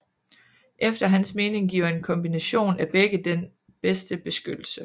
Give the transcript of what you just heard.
Efter hans mening giver en kombination af begge den bedste beskyttelse